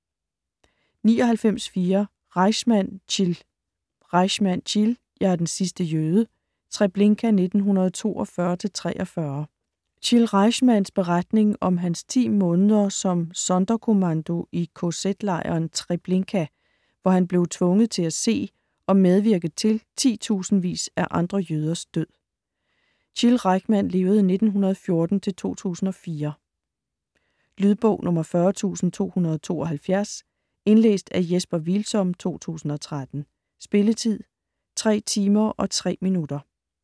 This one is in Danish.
99.4 Rajchman, Chil Rajchman, Chil: Jeg er den sidste jøde: Treblinka 1942-1943 Chil Rajchmans (1914-2004) beretning om hans 10 måneder som Sonderkommando i kz-lejren Treblinka, hvor han blev tvunget til at se og medvirke til titusindevis af andre jøders død. Lydbog 40272 Indlæst af Jesper Hvilsom, 2013. Spilletid: 3 timer, 3 minutter.